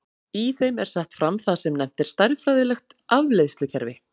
í þeim er sett fram það sem nefnt er stærðfræðilegt afleiðslukerfi